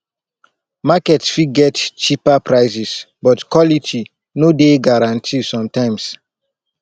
market fit get cheaper prices but quality no dey guarantee sometimes